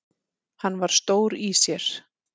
Hann var stór í sér.